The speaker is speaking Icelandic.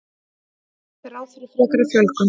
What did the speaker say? Gert er ráð fyrir frekari fjölgun